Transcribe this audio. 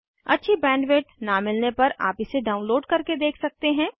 अच्छी बैंडविड्थ न मिलने पर आप इसे डाउनलोड करके देख सकते हैं